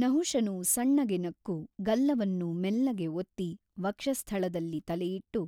ನಹುಷನು ಸಣ್ಣಗೆ ನಕ್ಕು ಗಲ್ಲವನ್ನು ಮೆಲ್ಲಗೆ ಒತ್ತಿ ವಕ್ಷಸ್ಥಳದಲ್ಲಿ ತಲೆಯಿಟ್ಟು